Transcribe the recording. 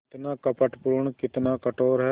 कितना कपटपूर्ण कितना कठोर है